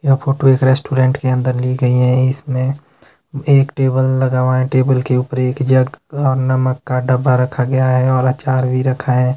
यह फोटो एक रेस्टोरेंट के अंदर ली गई है इसमें एक टेबल लगा हुआ है टेबल के ऊपर एक जग और नमक का डब्बा रखा गया है और आचार भी रखा है।